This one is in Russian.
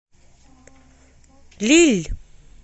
лилль